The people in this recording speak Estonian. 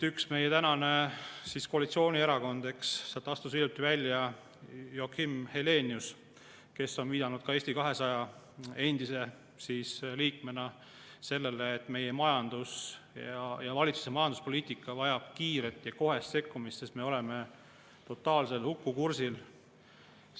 Ühest meie koalitsioonierakonnast astus hiljuti välja Joakim Helenius, kes on viidanud ka Eesti 200 endise liikmena sellele, et meie majandus ja valitsuse majanduspoliitika vajavad kiiret ja kohest sekkumist, sest me oleme brutaalsel hukukursil.